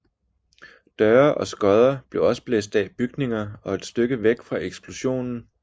Døre og skodder blev også blæst af bygninger et stykke væk fra eksplosionen